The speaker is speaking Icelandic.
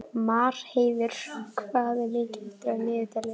Marheiður, hvað er mikið eftir af niðurteljaranum?